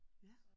Ja